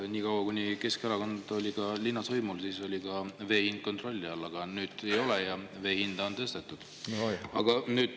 No nii kaua, kuni Keskerakond oli linnas võimul, oli ka vee hind kontrolli all, aga nüüd ei ole ja vee hinda on tõstetud.